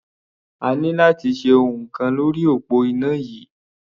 A ní láti ṣe ohun kan lórí òpó iná yìí.